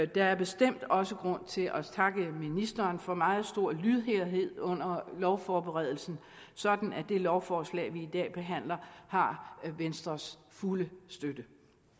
der er bestemt også grund til at takke ministeren for meget stor lydhørhed under lovforberedelsen sådan at det lovforslag vi i dag behandler har venstres fulde støtte